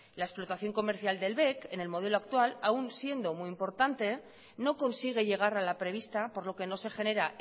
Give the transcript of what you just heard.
la explotación comercial del bec en el modelo actual aun siendo muy importante no consigue llegar a la prevista por lo que no se genera